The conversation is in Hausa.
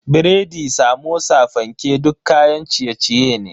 Biredi, Samosa, fanke duk kayan ciye-ciye ne.